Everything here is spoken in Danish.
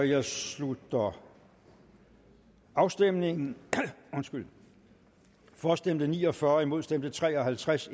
jeg slutter afstemningen for stemte ni og fyrre imod stemte tre og halvtreds